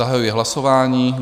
Zahajuji hlasování.